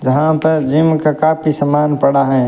जहां पर जिम का काफी समान पड़ा है।